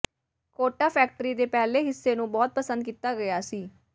quota factory ਦੇ ਪਹਿਲੇ ਹਿੱਸੇ ਨੂੰ ਬਹੁਤ ਪਸੰਦ ਕੀਤਾ ਗਿਆ ਸੀ